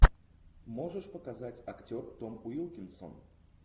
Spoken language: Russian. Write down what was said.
можешь показать актер том уилкинсон